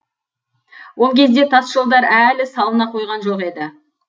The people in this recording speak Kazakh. ол кезде тас жолдар әлі салына қойған жоқ еді